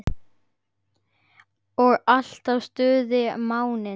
Og alltaf stuð á minni.